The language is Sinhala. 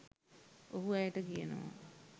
ඔහු ඇයට කියනවා